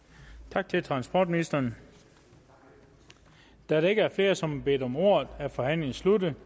tak til transportministeren da der ikke er flere som har bedt om ordet er forhandlingen sluttet